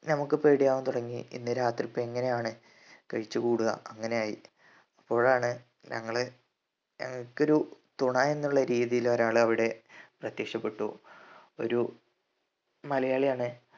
നമ്മക്ക് പേടിയാവാൻ തുടങ്ങി ഇന്ന് രാത്രിത്തെ എങ്ങനെയാണ് കഴിച്ചു കൂടുക അങ്ങനെ ആയി അപ്പോഴാണ് ഞങ്ങള് ഞങ്ങക്ക് ഒരു തുണ എന്നുള്ള രീതിയിൽ ഒരാള് അവിടെ പ്രത്യക്ഷപ്പെട്ടു ഒരു മലയാളിയാണ്